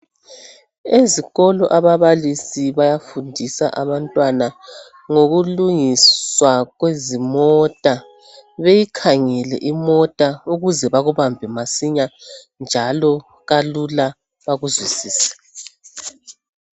Ezikolo ababalisi bayafundisa abantwana ngokulungiswa kwezimota beyikhangele imota ukuze bakubambe masinya njalo kalula bekuzwisise